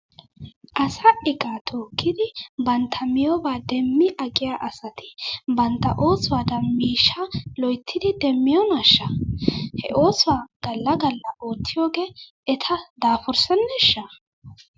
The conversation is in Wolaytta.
Asaa iqaa tookkidi bantta miyoobaa demmi aqiyaa asati bantta oosuwaadan miishshaa loyttidi demmiyoonaashsha? He oosuwaa gala gala oottiyoogee eta daafurseneeshsha?